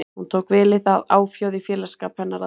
Hún tók vel í það, áfjáð í félagsskap hennar að vanda.